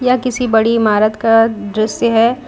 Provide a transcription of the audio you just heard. यह किसी बड़ी इमारत का दृश्य है।